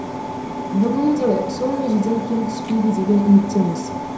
бүгін де сол межеден кем түспейді деген үміттеміз